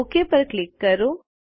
okay પર click કરો